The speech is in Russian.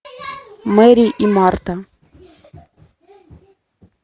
мэри и марта